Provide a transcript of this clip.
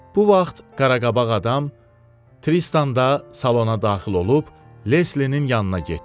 Bu vaxt Qaraqabaq adam Tristanda salona daxil olub Leslinin yanına getdi.